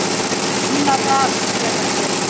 Annarra sé að gera það.